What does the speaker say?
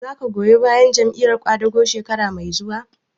Za ka goyi bayan Jam'iyar ƙwadago shekara mai zuwa?